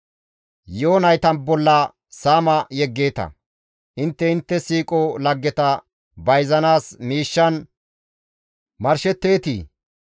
Yi7o nayta bolla saama yeggeeta; intte intte siiqo laggeta bayzanaas miishshan marshetteetii?